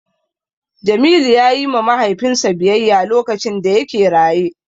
Jamilu ya yi ma Mahaifinsa biyayya lokacin da yake raye.